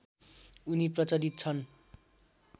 उनी प्रचलित छन्